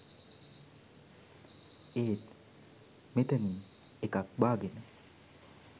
ඒත් මෙතනින් එකක් බා ගෙන